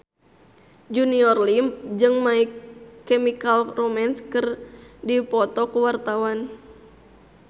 Junior Liem jeung My Chemical Romance keur dipoto ku wartawan